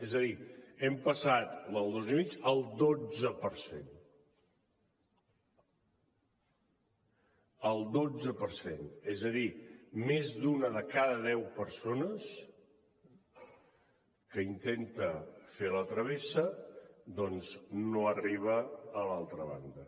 és a dir hem passat del dos i mig al dotze per cent al dotze per cent és a dir més d’una de cada deu persones que intenta fer la travessa no arriba a l’altra banda